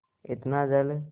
इतना जल